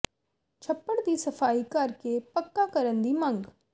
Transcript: ਛੱਪੜ ਦੀ ਸਫ਼ਾਈ ਕਰ ਕੇ ਪੱਕਾ ਕਰਨ ਦੀ ਮੰਗ